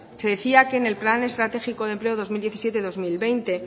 se decía que en el plan estratégico de empleo de dos mil diecisiete dos mil veinte